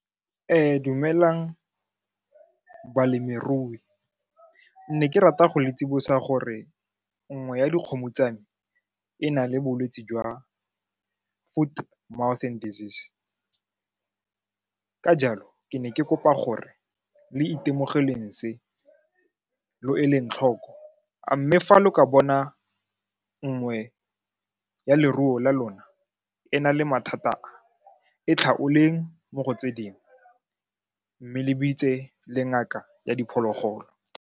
Dumelang balemirui ne ke rata go le tsibosa gore nngwe ya dikgomo tsa me e na le bolwetse jwa foot, mouth and desease ka jalo ke ne ke kopa gore le itemogeleng se, lo eleng tlhoko mme fa le ka bona nngwe ya leruo la lona e na le mathata a, e tlhaoleng mo go tse dingwe mme le bitse le ngaka ya diphologolo.